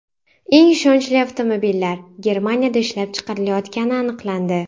Eng ishonchli avtomobillar Germaniyada ishlab chiqarilayotgani aniqlandi.